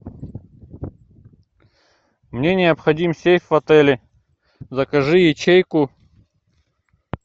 мне необходим сейф в отеле закажи ячейку